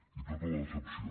i tota la decepció